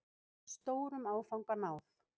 Stórum áfanga náð